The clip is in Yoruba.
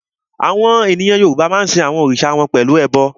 Àwọn ènìyàn Yorùbá a máa sin àwọn Ọlọ́run wọn pẹ̀lú ẹbọ